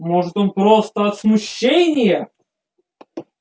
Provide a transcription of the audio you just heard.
может он просто от смущения